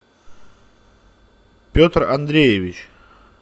петр андреевич